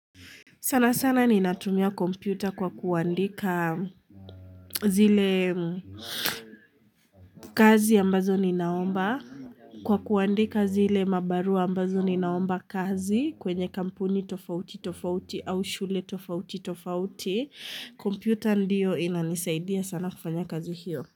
Sana sana ni natumia kompyuta kwa kuandika zile kazi ambazo ni naomba. Kwa kuandika zile mabarua ambazo ni naomba kazi kwenye kampuni tofauti tofauti au shule tofauti tofauti. Kompyuta ndiyo inanisaidia sana kufanya kazi hiyo.